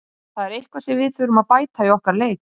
Það er eitthvað sem við þurfum að bæta í okkar leik.